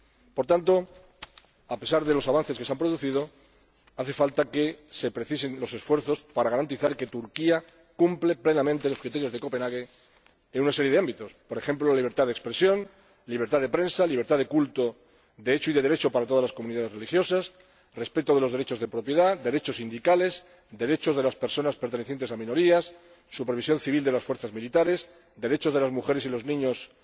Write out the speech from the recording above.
Por tanto, a pesar de los avances que ha habido, hace falta que se precisen los esfuerzos para garantizar que Turquía cumple plenamente los criterios de Copenhague en una serie de ámbitos, por ejemplo, la libertad de expresión, la libertad de prensa, la libertad de culto de hecho y de derecho para todas las comunidades religiosas, el respeto de los derechos de propiedad, los derechos sindicales y los derechos de las personas pertenecientes a minorías, la supervisión civil de las fuerzas militares, los derechos de las mujeres y los niños